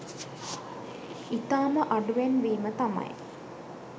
ඉතාම අඩුවෙන් වීම තමයි